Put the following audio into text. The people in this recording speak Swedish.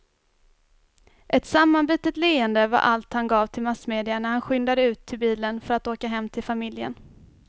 Ett sammanbitet leende var allt han gav till massmedia när han skyndade ut till bilen för att åka hem till familjen.